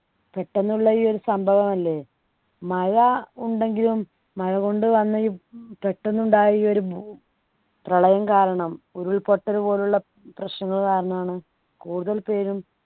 പെട്ടെന്നുള്ള ഈ ഒരു സംഭവം അല്ലേ മഴ ഉണ്ടെങ്കിലും മഴ കൊണ്ടുവന്ന ഈ പെട്ടെന്ന് ഉണ്ടായ ഈയൊരു ഭു പ്രളയം കാരണം ഉരുൾപൊട്ടൽ പോലുള്ള പ്രശ്നങ്ങൾ കാരണം ആണ് കൂടുതൽ പേരും